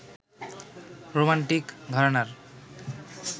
romantic ঘরানার